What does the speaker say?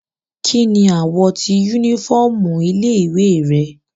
Kini awọ ti unifọmú ile-iwe rẹ?